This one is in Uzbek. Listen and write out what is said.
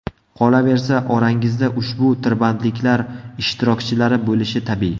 Qolaversa, orangizda ushbu tirbandliklar ishtirokchilari bo‘lishi tabiiy.